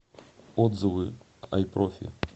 отзывы айпрофи